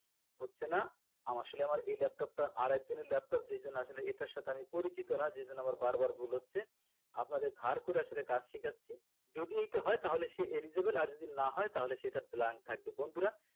হচ্ছেনা আসলে আমার এই laptop টা আরেকজন এর laptop যেজন্য আসলে এটার সাথে আমি পরিচিত না যেজন্য আমার বারবার ভুল হচ্ছে আপনাদের ধার করে আসলে কাজ শিখাচ্ছি যদি এইটা হয় তাহলে সে eligible আর যদি না হয় তাহলে সে এটা blank থাকবে বন্ধুরা